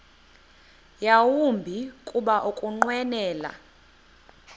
yawumbi kuba ukunqwenela